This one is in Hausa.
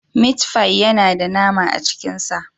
Mit fi yana da nama a cikin sa.